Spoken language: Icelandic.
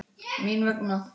Mín vegna.